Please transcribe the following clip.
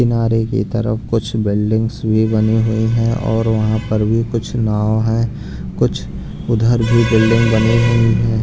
किनारे की तरफ कुछ बिल्डिंग्स भी बनी हुई हैँ और वहाँ पर भी कुछ नाव हैं कुछ उधर भी बिल्डिंग बनी हुई हैं।